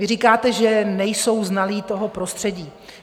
Vy říkáte, že nejsou znalí toho prostředí.